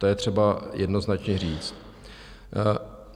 To je třeba jednoznačně říct.